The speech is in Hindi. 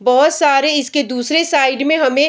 बहुत सारे इसके दूसरे साइड में हमें --